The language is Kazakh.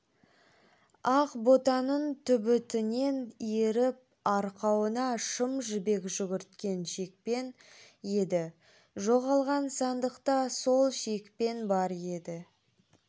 ақ ботаның түбітінен иіріп арқауына шым жібек жүгірткен шекпен еді жоғалған сандықта сол шекпен бар еді